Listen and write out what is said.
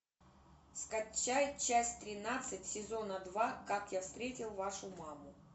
скачай часть тринадцать сезона два как я встретил вашу маму